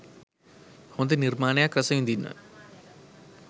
හොඳ නිර්මාණයක් රසවිදින්න.